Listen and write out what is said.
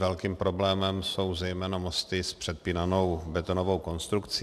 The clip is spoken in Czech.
Velkým problémem jsou zejména mosty s předpínanou betonovou konstrukcí.